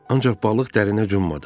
Ancaq balıq dərinə cummadı.